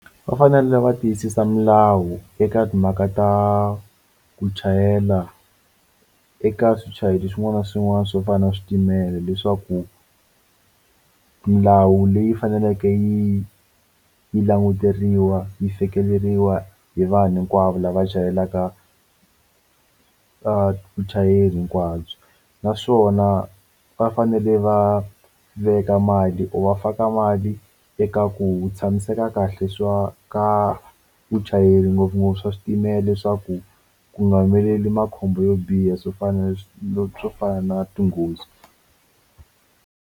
Va fanele va tiyisisa milawu eka timhaka ta ku chayela eka swichayeri swin'wana na swin'wana swo fana na switimela leswaku milawu leyi faneleke yi yi languteriwa yi fikeleriwa hi vanhu hinkwavo lava chayelaka vuchayeri hinkwabyo naswona va fanele va veka mali or va faka a mali eka ku tshamiseka kahle swa ka vuchayeri ngopfungopfu swa switimela leswaku ku nga humeleli makhombo yo biha swo fana no swo fana na tinghozi.